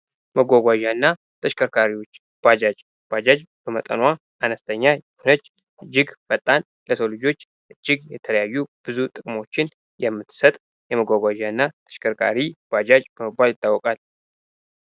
ማጓጓጃና ተሽከርካሪዎች ባጃጅ በመጠኑዋል አነስተኛ ነች እጅግ ፈጣን ለሰው ልጆች እጅግ የተለያዩ ጥቅሞችን የምትሰጥ ተሽከርካሪ ባጃጅ በመባል ትታውቃለች።